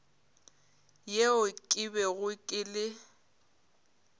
yeo ke bego ke le